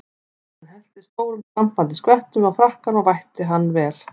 Hann hellti stórum skvampandi skvettum á frakkann og vætti hann vel.